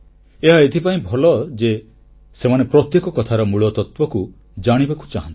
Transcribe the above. ଏହା ଏଇଥିପାଇଁ ଭଲ ଯେ ସେମାନେ ପ୍ରତ୍ୟେକ କଥାର ମୂଳତତ୍ୱକୁ ଜାଣିବାକୁ ଚାହାଁନ୍ତି